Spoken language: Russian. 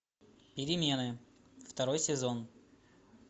перемены второй сезон